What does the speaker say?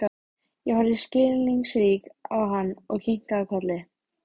Ég horfði skilningsrík á hann og kinkaði kolli.